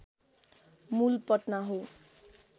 मूल पटना हो